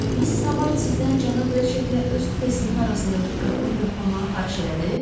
Missis Habard sizdən cənab Reçetlə öz kupesinin arasındakı qapını yoxlamağı xahiş elədi?